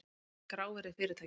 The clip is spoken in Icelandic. Hvað er grávirði fyrirtækja?